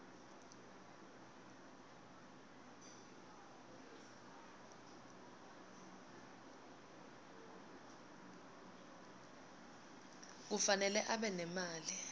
kufanele abe nemali